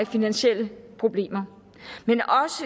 finansielle problemer